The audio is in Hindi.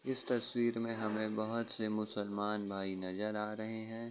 इस तस्वीर में हमें बहुत से मुसलमान भाई नजर आ रहे हैं।